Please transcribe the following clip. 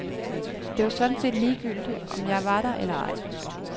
Det var sådan set ligegyldigt om jeg var der eller ej.